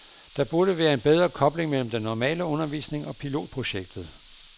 Der burde være en bedre kobling mellem den normale undervisning og pilotprojektet.